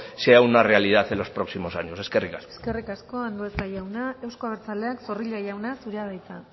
sea una realidad en los próximos años eskerrik asko eskerrik asko andueza jauna euzko abertzaleak zorrilla jauna zurea da hitza